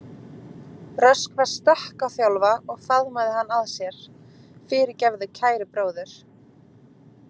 Röskva stökk á Þjálfa og faðmaði hann að sér: Fyrirgefðu, kæri bróðir.